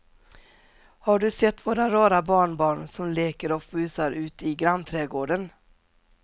Har du sett våra rara barnbarn som leker och busar ute i grannträdgården!